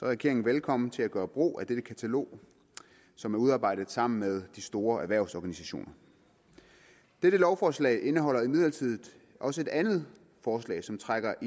regeringen velkommen til at gøre brug af dette katalog som er udarbejdet sammen med de store erhvervsorganisationer dette lovforslag indeholder imidlertid også et andet forslag som trækker